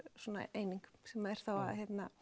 eining sem er þá að